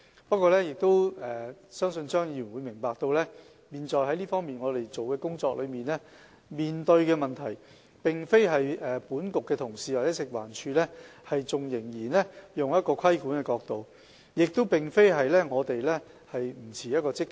不過，我希望張議員明白，我們現時所做的工作和面對的問題，並非因為本局同事或食環署仍然從規管者的角度出發，亦並非因為我們的態度不積極。